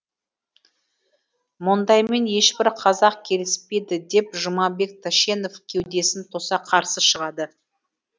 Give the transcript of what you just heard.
мұндаймен ешбір қазақ келіспейді деп жұмабек тәшенев кеудесін тоса қарсы шығады